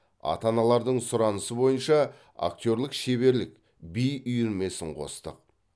ата аналардың сұранысы бойынша актерлік шеберлік би үйірмесін қостық